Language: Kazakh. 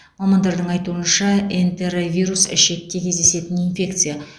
мамандардың айтуынша энтеровирус ішекте кездесетін инфекция